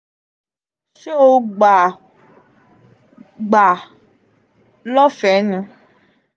se o gba gba a lofee ni?